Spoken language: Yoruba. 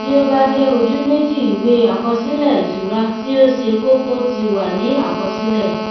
tí ó bá jẹ ojú méjììwé àkọsílẹ ìṣura tí ó ṣe kókó ti wà ní àkọsílẹ